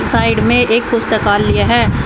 Side में एक पुस्तकालय है।